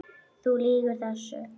Þú lýgur þessu!